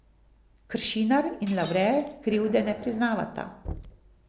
Kršinar in Lavre krivde ne priznavata.